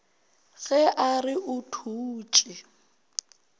ge a re o thutše